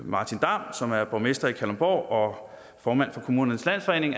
martin damm som er borgmester i kalundborg og formand for kommunernes landsforening